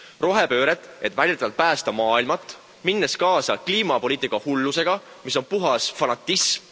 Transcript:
Rohepööret, et väidetavalt päästa maailma, minnes kaasa kliimapoliitika hullusega, mis on puhas fanatism.